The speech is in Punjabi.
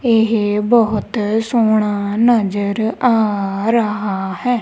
ਇਹ ਬਹੁਤ ਸੋਹਣਾ ਨਜ਼ਰ ਆ ਰਹਾ ਹੈ।